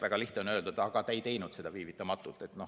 Väga lihtne on öelda, et aga te ei teinud seda viivitamata.